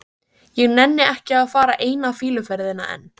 Ég nenni ekki að fara eina fýluferðina enn.